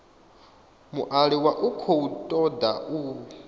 mualuwa u khou toda u